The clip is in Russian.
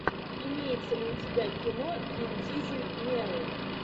имеется ли у тебя кино вин дизель меру